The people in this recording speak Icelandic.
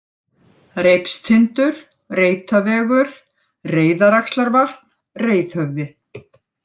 Reipstindur, Reitavegur, Reiðaraxlarvatn, Reiðhöfði